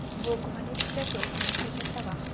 Bu gimnastikachi uchun juda katta vaqt.